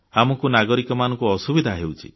ଆମକୁ ନାଗରିକମାନଙ୍କୁ ଅସୁବିଧା ହେଉଛି